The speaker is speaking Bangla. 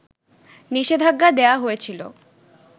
নিষেধাজ্ঞা দেয়া হয়েছিল